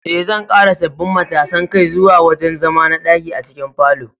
Eh, zan ƙara sabbin matasan kai zuwa wurin zama na ɗaki a cikin falon